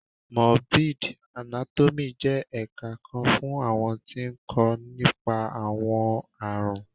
Morbid Anátọ́miì jẹ́ ẹ̀ka kan fún àwọn tí ń kó nípa. àwọn àrùn